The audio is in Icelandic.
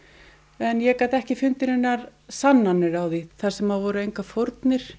en ég gat ekki fundið neinar sannanir á því þar sem voru engar fórnir